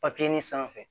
sanfɛ